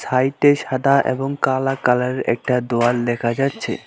সাইডে সাদা এবং কালা কালারের একটা দেওয়াল দেখা যাচ্ছে।